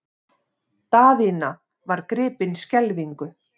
Daðína var gripin skelfingu.